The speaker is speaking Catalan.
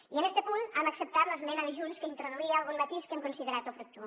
i en este punt hem acceptat l’esmena de junts que introduïa algun matís que hem considerat oportú